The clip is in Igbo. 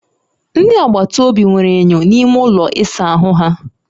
Ndị agbata obi nwere enyo n'ime ụlọ ịsa ahụ ha